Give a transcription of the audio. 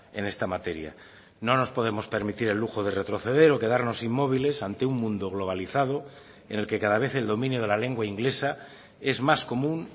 en esta materia no nos podemos permitir el lujo de retroceder o quedarnos inmóviles ante un mundo globalizado en el que cada vez el dominio de la lengua inglesa es más común